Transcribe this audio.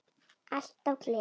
Alltaf gleði.